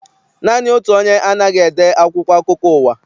Naanị otu onye anaghị ede akwụkwọ akụkọ ụwa.